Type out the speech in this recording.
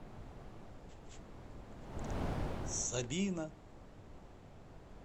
собина